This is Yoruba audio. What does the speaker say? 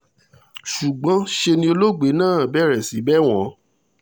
ṣùgbọ́n ṣe ni olóògbé náà bẹ̀rẹ̀ sí í bẹ̀ wọ́n